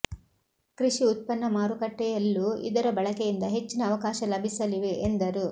ಕೃಷಿ ಉತ್ಪನ್ನ ಮಾರುಕಟ್ಟೆಯಲ್ಲೂ ಇದರ ಬಳಕೆಯಿಂದ ಹೆಚ್ಚಿನ ಅವಕಾಶ ಲಭಿಸಲಿವೆ ಎಂದರು